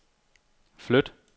flyt